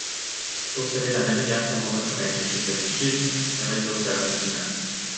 To seveda ne velja samo za korenček in peteršilj, temveč za vse rastline.